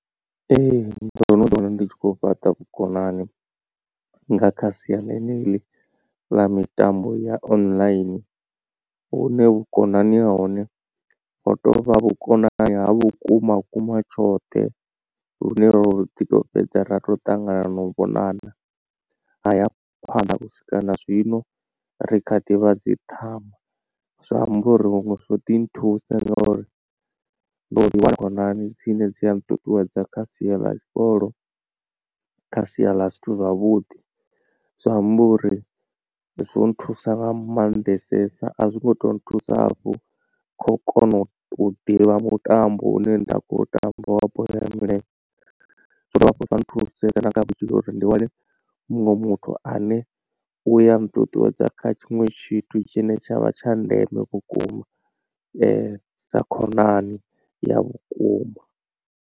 Ee ndo no ḓi wana ndi tshi khou fhaṱa vhukonani nga kha sia ḽeneḽi ḽa mitambo ya online vhune vhukonani ha hone ho tovha vhukonani ha vhukuma kuma tshoṱhe lune ro ḓi to fhedza ra tou ṱangana na u vhonana haya phanḓa u swika na zwino ri kha ḓi vha dzi ṱhama. Zwa amba uri huṅwe zwo ḓi nthusa ngauri ndo ḓi wana khonani dzine dzi a nṱuṱuwedza kha sia ḽa tshikolo kha sia ḽa zwithu zwavhuḓi zwi amba uri zwo nthusa nga maanḓesesa a zwi ngo to nthusa vho kho kona u ḓivha mutambo u ne nda khou tamba wa bola ya milenzhe zwo dovha zwa nthusedza uri ndi wane muṅwe muthu ane uya nṱuṱuwedza kha tshiṅwe tshithu tshine tshavha tsha ndeme vhukuma sa khonani ya vhukuma.